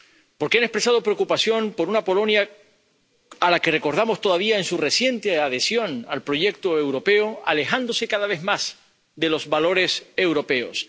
Porque han expresado preocupación por una Polonia, a la que recordamos todavía en su reciente adhesión al proyecto europeo, alejándose cada vez más de los valores europeos.